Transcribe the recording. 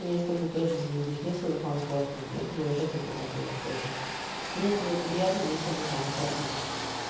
и мне с тобой тоже заебись мне с тобой комфортно я тебе уже это говорила тоже мне с тобой приятно мне с тобой комфортно